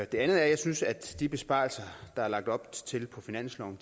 det andet er at jeg synes at de besparelser der er lagt op til på finansloven